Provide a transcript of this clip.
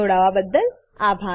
જોડાવાબદ્દલ આભાર